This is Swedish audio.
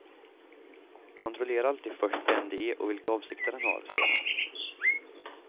Kontrollera alltid först vem det är och vilka avsikter han har, säger han.